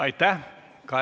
Aitäh!